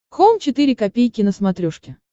хоум четыре ка на смотрешке